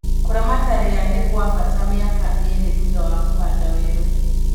Kũramata ria nĩ gwa bata mĩaka ĩlĩ thutha wa kũhanda werũ